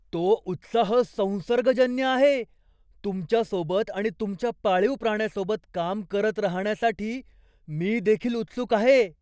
तो उत्साह संसर्गजन्य आहे! तुमच्यासोबत आणि तुमच्या पाळीव प्राण्यासोबत काम करत राहण्यासाठी मी देखील उत्सुक आहे.